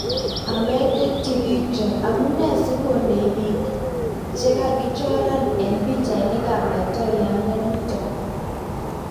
#Ometetipikchok:Amunee sikondei piik chekakichoran eng pichainik ap.laitoriatnda nitok